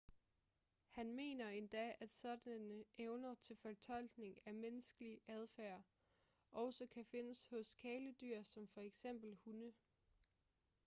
han mener endda at sådanne evner til fortolkning af menneskelig adfærd også kan findes hos kæledyr som for eksempel hunde